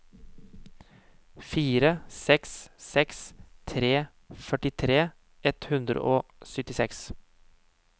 fire seks seks tre førtifire ett hundre og syttiseks